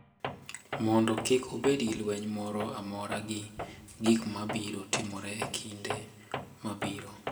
Mondo kik obed gi lweny moro amora gi gik ma biro timore e kinde mabiro.